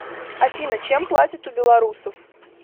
афина чем платят у белорусов